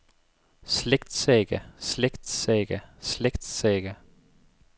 slægtssaga slægtssaga slægtssaga